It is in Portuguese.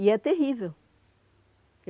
E é terrível.